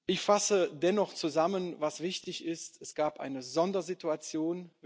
Ich fasse dennoch zusammen, was wichtig ist Es gab eine Sondersituation.